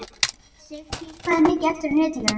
Sigtýr, hvað er mikið eftir af niðurteljaranum?